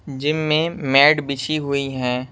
Gym में mat बिछी हुई हैं।